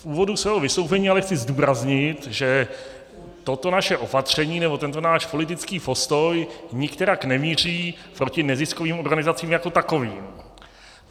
V úvodu svého vystoupení ale chci zdůraznit, že toto naše opatření nebo tento náš politický postoj nikterak nemíří proti neziskovým organizacím jako takovým.